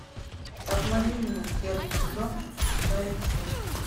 обмани меня первый сезон шестая часть